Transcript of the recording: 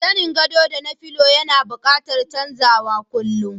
Zanen godo da na filo yana buƙatan chanzawa kullum.